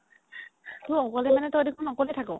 অকলে মানে তই দেখোন অকলে থাক